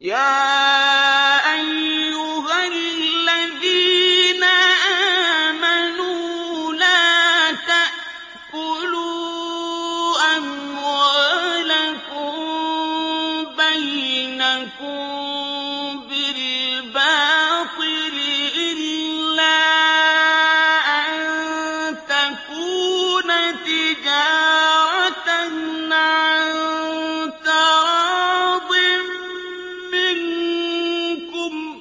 يَا أَيُّهَا الَّذِينَ آمَنُوا لَا تَأْكُلُوا أَمْوَالَكُم بَيْنَكُم بِالْبَاطِلِ إِلَّا أَن تَكُونَ تِجَارَةً عَن تَرَاضٍ مِّنكُمْ ۚ